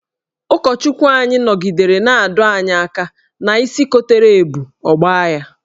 Ụkọchukwu anyị nọgidere na-adọ anyị aka ná isi kotere ebu, ọ gbaa ya.